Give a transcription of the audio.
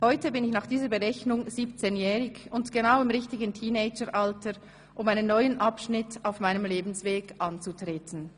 Heute bin ich nach dieser Berechnung 17-jährig und genau im richtigen Teenager-Alter, um einen neuen Abschnitt auf meinem Lebensweg anzutrelege ten.